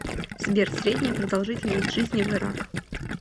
сбер средняя продолжительность жизни в ирак